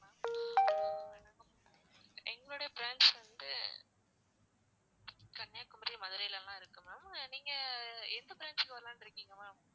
எங்களுடைய branch வந்து கன்னியாகுமரி, மதுரைலலாம் இருக்கு ma'am நீங்க எந்த branch க்கு வரலான்னு இருக்கீங்க ma'am